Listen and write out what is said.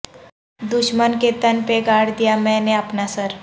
دشمن کے تن پہ گاڑ دیا میں نے اپنا سر